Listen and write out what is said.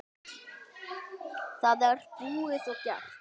Það er búið og gert.